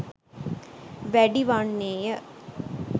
වැඩි වන්නේය.